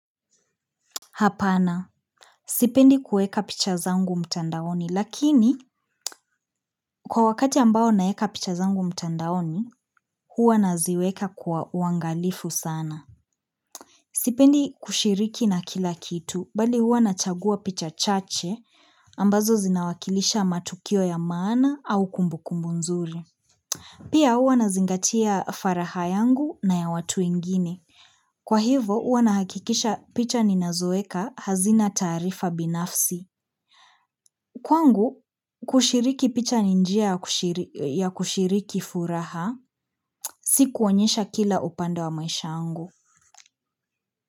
Hapana, sipendi kuweka picha zangu mtandaoni, lakini kwa wakati ambao naeka picha zangu mtandaoni, huwa naziweka kwa uangalifu sana. Sipendi kushiriki na kila kitu, bali hua nachagua picha chache, ambazo zinawakilisha matukio ya maana au kumbukumbu nzuri. Pia huwa nazingatia faraha yangu na ya watu wengini. Kwa hivo, hua nahakikisha picha ni nazoweka hazina tarifa binafsi. Kwangu, kushiriki picha ni njia ya kushiriki furaha, si kuonyesha kila upande wa maisha yangu.